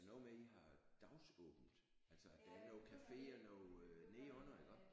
Er det noget med I har dagsåbent altså at der noget café og noget nedenunder ikkå?